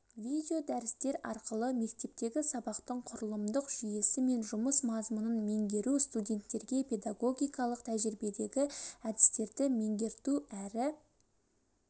видеодәрістер арқылы мектептегі сабақтың құрылымдық жүйесі мен жұмыс мазмұнын меңгеру студенттерге педагогикалық тәжірибедегі әдістерді меңгерту әрі